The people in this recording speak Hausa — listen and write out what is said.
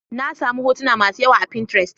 Na sami hotuna masu yawa a pinterest.